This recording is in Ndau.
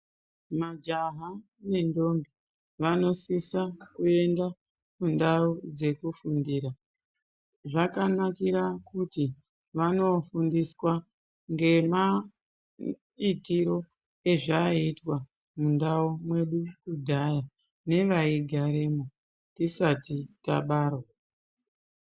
Majaha nendombi vanosisa kuenda kundau dzekufundira. Zvakanakira kuti vanofundiswa ngemaitiro ezvaiitwa mundau mwedu kudhaya nevaigaremwo tisati tabarwa.